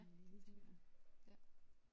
Ja det tænker jeg ja